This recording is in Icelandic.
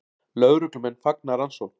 Lögreglumenn fagna rannsókn